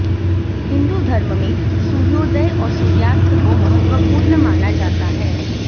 हिन्दू धर्म में सूर्योदय और सूर्यास्त को महत्वपूर्ण माना जाता है